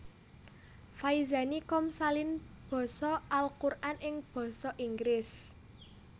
Faizani com salin basa Al Quran ing basa Inggris